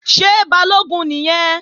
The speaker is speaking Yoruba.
Ṣé Balógun nìyẹn?